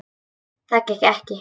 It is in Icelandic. Það gekk ekki